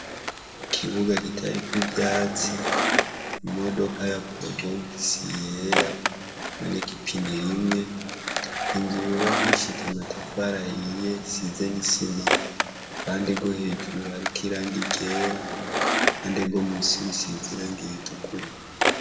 Ikibuga kitariko ivyatsi, imodoka ya porobogisi yera, iboneka ipine rimwe, inzu yubakishije matafara ahiye isize n'isima. Ku ruhande rwo hejuru hariko irangi ryera, ku ruhande rwo musi rusize irangi ritukura.